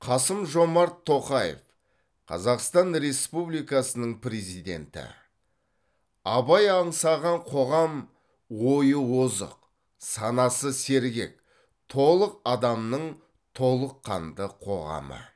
қасым жомарт тоқаев қазақстан республикасының президенті абай аңсаған қоғам ойы озық санасы сергек толық адамның толыққанды қоғамы